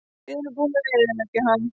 Við erum búnir að eyðileggja hann.